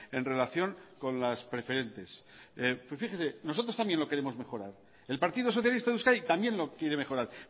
en relación con las preferentes fíjese nosotros también lo queremos mejorar el partido socialista de euskadi también lo quiere mejorar